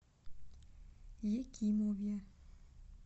екимове